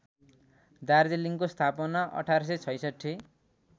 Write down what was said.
दार्जीलिङको स्थापना १८६६